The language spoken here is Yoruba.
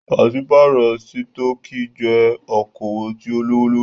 Pàṣípàrọ̀ sítọ̀kì jẹ́ okoòwò tí o lówó lórí.